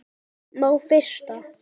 Má frysta.